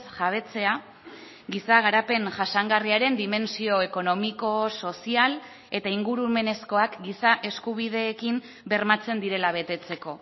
jabetzea giza garapen jasangarriaren dimentsio ekonomiko sozial eta ingurumenezkoak giza eskubideekin bermatzen direla betetzeko